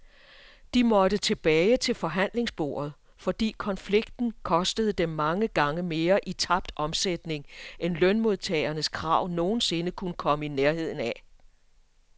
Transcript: De måtte tilbage til forhandlingsbordet, fordi konflikten kostede dem mange gange mere i tabt omsætning end lønmodtagernes krav nogen sinde kunne komme i nærheden af.